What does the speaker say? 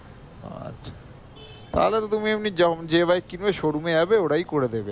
তাহলে তো তুমি এমনি জেম~ যে bike কিনবে showroom এ যাবে ওরাই করে দেবে